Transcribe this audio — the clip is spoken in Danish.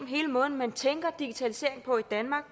hele måden man tænker digitalisering på i danmark